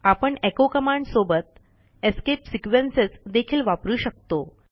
आपण echo command सोबत escape sequences देखील वापरू शकतो